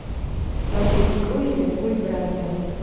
смотреть игру ливерпуль брайтон